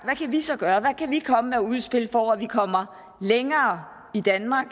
kan vi så gøre hvad kan vi komme med af udspil for at vi kommer længere i danmark